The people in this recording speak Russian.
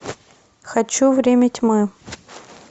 хочу время тьмы